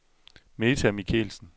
Meta Michelsen